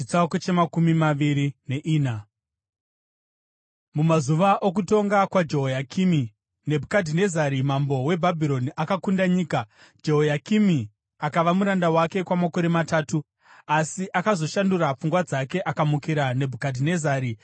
Mumazuva okutonga kwaJehoyakimi Nebhukadhinezari mambo weBhabhironi akakunda nyika, Jehoyakimi akava muranda wake kwamakore matatu. Asi akazoshandura pfungwa dzake akamukira Nebhukadhinezari.